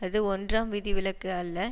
அது ஒன்றாம் விதிவிலக்கு அல்ல